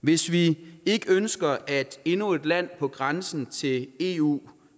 hvis vi ikke ønsker at endnu et land på grænsen til eu